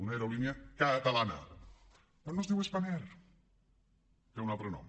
una aerolínia catalana però no es diu spanair té un altre nom